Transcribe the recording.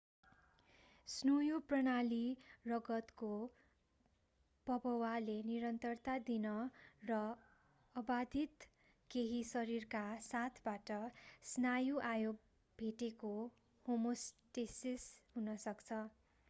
स्नुयु प्रणाली रगतको बभवाले निरन्तरता दिन र अबाधित केही शरीरका साथबाट स्नायु आयो भेटेको होमोस्टेसिस हुन सक्छ